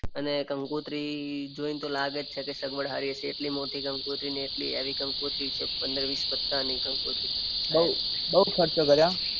અને કંકોત્રી જોઈને તો લાગે જ છે કે સગવડ સારી જ હશે એટલી મોટી કંકોત્રી ને એટલી હેવી કંકોત્રી છે પંદર વીસ પત્તાની કંકોત્રી. બઉ ખર્ચો કર્યો હા.